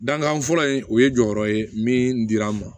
Dankan fɔlɔ in o ye jɔyɔrɔ ye min dira an ma